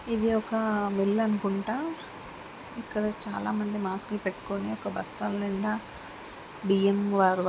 ఇది ఒక మిల్లు అనికుంటా ఇక్కడ చాలా మంది మాస్కులు పెట్టుకుని ఒక బస్తాల నిండా బియ్యం వ-వ --